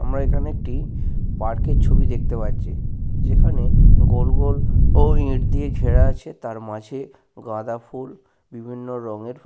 আমরা এইখানে একটি পার্কের ছবি দেখতে পাচ্ছি যেখানে গোল গোল ও ইট দিয়ে ঘেরা আছে তার মাঝে গাঁদাফুল বিভিন্ন রঙের।